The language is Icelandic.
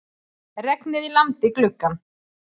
Regnið lamdi gluggann.